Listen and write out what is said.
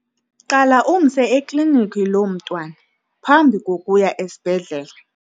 Qala umse eklinikhi lo mntwana phambi kokuya esibhedlele.